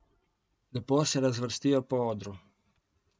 Lepo se razvrstijo po odru.